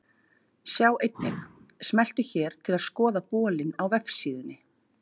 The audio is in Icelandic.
Sjá einnig: Smelltu hér til að skoða bolinn á vefsíðunni.